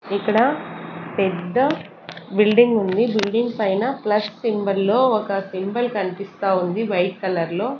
ఇక్కడ పెద్ద బిల్డింగ్ ఉంది బిల్డింగ్ పైన ప్లస్ సింబల్ లో ఒక సింబల్ కనిపిస్తా ఉంది వైట్ కలర్ లో.